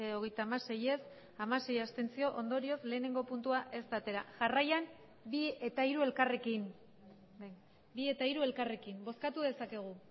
hogeita hamasei ez hamasei abstentzio ondorioz lehenengo puntua ez da atera jarraian bi eta hiru elkarrekin bi eta hiru elkarrekin bozkatu dezakegu